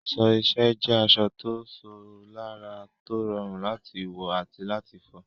Aṣọ iṣẹ́ jẹ́ aṣọ tó ṣò lára, tó rọrùn láti wọ̀ àti láti fọ̀.